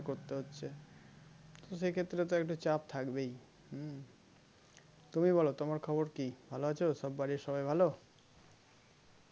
সে ক্ষেত্রে তো একটা চাপ থাকবেই হম তুমি বলো তোমার খবর কি ভালো আছো সব বাড়ির সবাই ভালো